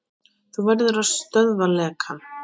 Þú verður að stöðva lekann.